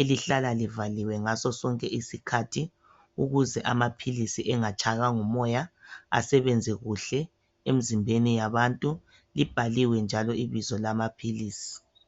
elihlala livaliwe ngaso sonke isikhathi ukuze amapills engatshaywa ngumoya asebenze kuhle emizimbeni yabantu ibhakiwe njalo ibizo lamapills